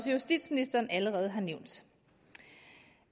justitsministeren allerede har nævnt